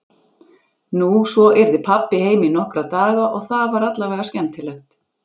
Nú, svo yrði pabbi heima í nokkra daga og það var allavega skemmtilegt.